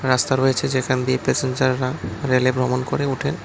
রাস্তায় রয়েছে যেখান দিয়ে প্যাসেঞ্জাররা রেলে ভ্রমণ করে ওঠেন।